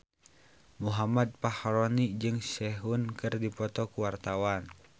Muhammad Fachroni jeung Sehun keur dipoto ku wartawan